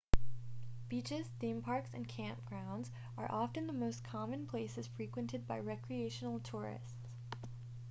beaches theme parks and camp grounds are often the most common places frequented by recreational tourists